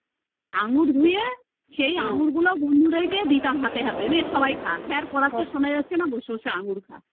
আঙ্গুর ধুয়ে সেই আঙ্গুর গুলো বন্ধুদের কে দিতাম হাতে হাতে নে সবাই খা sir পড়াচ্ছে শোনা যাচ্ছে না বসে বসে আঙ্গুর খা